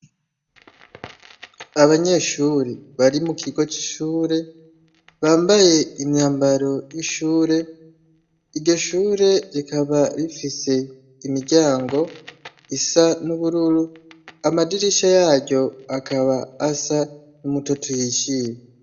Abanyeshuri bari mu kigo c'ishure bambaye imyambaro y'ishure, iryo shure rikaba rifise imiryango isa n'ubururu amadirisha yaryo akaba asa n'umutoto uhishiye.